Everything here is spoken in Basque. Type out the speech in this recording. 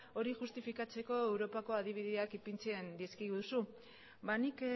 hori justifikatzeko europako adibideak ipintzen dizkiguzu nik